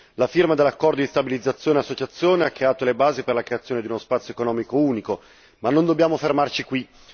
La firma dell'accordo di stabilizzazione e associazione ha creato le basi per la creazione di uno spazio economico unico ma non dobbiamo fermarci qui.